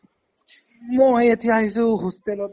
মই এতিয়া আহিছো hostel ত।